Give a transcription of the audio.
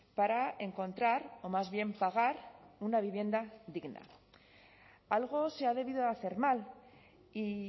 para encontrar o más bien pagar una vivienda digna algo se ha debido de hacer mal y